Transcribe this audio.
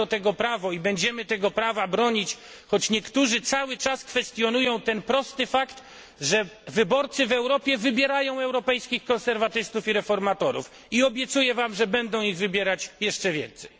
Mamy do tego prawo i będziemy tego prawa bronić, choć niektórzy cały czas kwestionują ten prosty fakt, że wyborcy w Europie wybierają europejskich konserwatystów i reformatorów i obiecuję państwu, że będą ich wybierać jeszcze więcej.